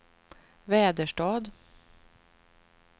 Väderstad